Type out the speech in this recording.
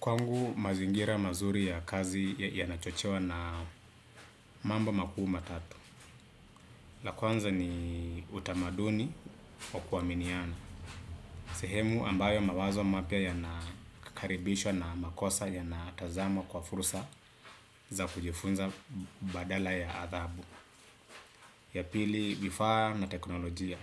Kwangu mazingira mazuri ya kazi ya nachochewa na mambo makuu matatu. La kwanza ni utamaduni wa kuwaminiana. Sehemu ambayo mawazo mapya ya nakakaribishwa na makosa ya natazamwa kwa fursa za kujifunza badala ya athabu. Ya pili vifaa na teknolojia.